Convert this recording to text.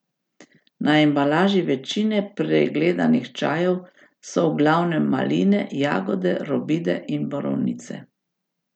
Na embalaži večine pregledanih čajev so v glavnem maline, jagode, robide in borovnice.